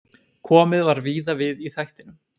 Komið var víða við í þættinum.